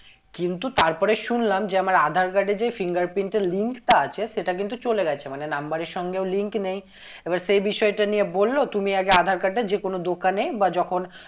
কিন্তু তারপরে শুনলাম যে আমার aadhaar card এ যে finger print এর link টা আছে সেটা কিন্তু চলে গেছে মানে number এর সঙ্গেও link নেই এবার সেই বিষয়টা নিয়ে বললো তুমি আগে aadhaar card টা যে কোনো দোকানে বা যখন